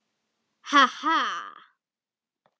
Ha ha.